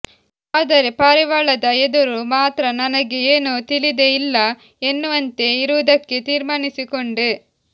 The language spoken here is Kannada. ಆದರೆ ಪಾರಿವಾಳದ ಎದುರು ಮಾತ್ರ ನನಗೆ ಏನೂ ತಿಳಿದೇ ಇಲ್ಲ ಎನ್ನುವಂತೆ ಇರವುದಕ್ಕೆ ತೀರ್ಮಾನಿಸಿಕೊಂಡೆ